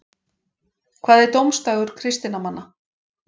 Hvað er dómsdagur kristinna manna?